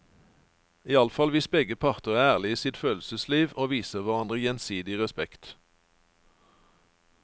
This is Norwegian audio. Iallfall hvis begge parter er ærlige i sitt følelsesliv og viser hverandre gjensidig respekt.